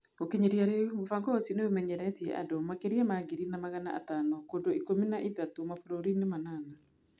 Gũkinyĩria rĩu, mũbango ũcio nĩ ũmenyeretie andũ makĩria ma ngiri na magana atano kũndũ ikũmi na ithatũ mabũrũri-inĩ manana.